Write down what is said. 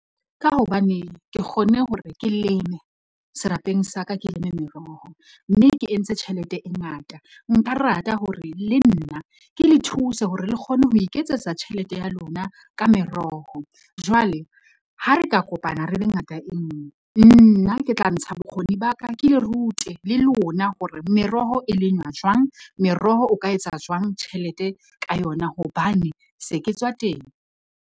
Ka hobane ke kgonne hore ke leme serapeng sa ka, ke leme meroho, mme ke entse tjhelete e ngata, nka rata hore le nna ke le thuse hore le kgone ho iketsetsa tjhelete ya lona ka meroho. Jwale ha re ka kopana re be ngata enngwe nna ke tla ntsha bokgoni ba ka, ke le rute le lona hore meroho e lengwa jwang, meroho o ka etsa jwang tjhelete ka yona hobane se ke tswa teng.